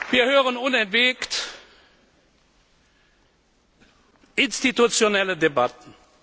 Wir hören unentwegt institutionelle Debatten.